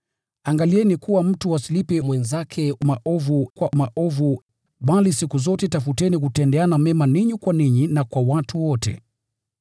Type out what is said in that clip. Angalieni kuwa mtu asimlipe mwenzake maovu kwa maovu, bali siku zote tafuteni kutendeana mema ninyi kwa ninyi na kwa watu wote.